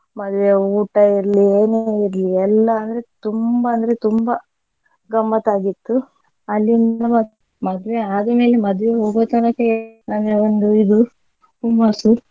ಮದುವೆಯ ಊಟ ಇರ್ಲಿ ಏನೇ ಇರ್ಲಿ ಎಲ್ಲಾ ಅಂದ್ರೆ ತುಂಬಾ ಅಂದ್ರೆ ತುಂಬಾ ಗಮ್ಮತ್ ಆಗಿತ್ತು ಅಲ್ಲಿಂದ ಮ~ ಮದ್ವೆ ಆದಮೇಲೆ ಮದ್ವೆಗೆ ಹೋಗುವ ತನಕ ಅಂದ್ರೆ ಒಂದು ಇದು ಹುಮ್ಮಸ್ಸು.